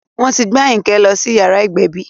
Wọ́n ti gbé Àyìnkẹ́ lọ sí yàrá ìgbẹ̀bí